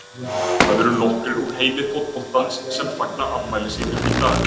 Það eru nokkrir úr heimi fótboltans sem fagna afmæli sínu í dag.